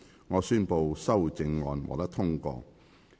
我宣布修正案獲得通過。